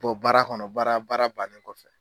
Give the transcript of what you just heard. Bɔ baara kɔnɔ baara baara bannen kɔfɛ